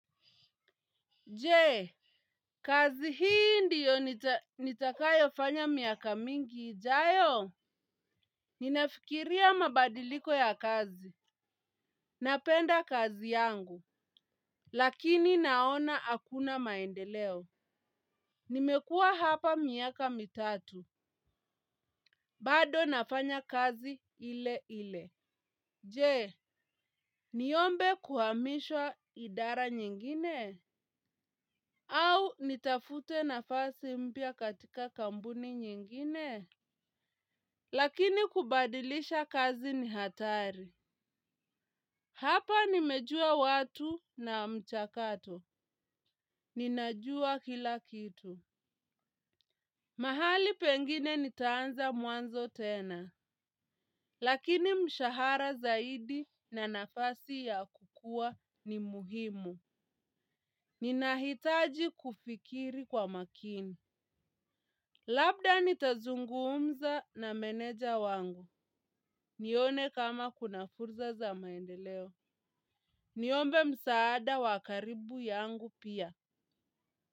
Je, kazi hii ndiyo nitakayofanya miaka mingi ijayo? Ninafikiria mabadiliko ya kazi. Napenda kazi yangu. Lakini naona hakuna maendeleo. Nimekuwa hapa miaka mitatu. Bado nafanya kazi ile ile. Je, niombe kuhamishwa idara nyingine? Au nitafute nafasi mpya katika kampuni nyingine? Lakini kubadilisha kazi ni hatari. Hapa nimejua watu na mchakato. Ninajua kila kitu. Mahali pengine nitaanza mwanzo tena. Lakini mshahara zaidi na nafasi ya kukua ni muhimu. Ninahitaji kufikiri kwa makini. Labda nitazungumza na meneja wangu. Nione kama kuna fursa za maendeleo. Niombe msaada wa karibu yangu pia.